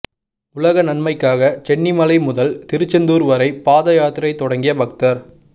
உலக நன்மைக்காக சென்னிமலை முதல் திருச்செந்தூா் வரை பாதை யாத்திரை தொடங்கிய பக்தா்